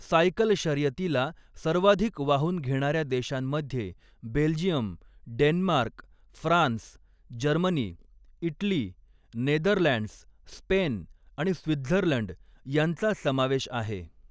Cycle शर्यतीला सर्वाधिक वाहून घेणाऱ्या देशांमध्ये Belgium, Denmark, France, Germany, Italy, Netherlands, Spain आणि स्वित्झर्लंड यांचा समावेश आहे.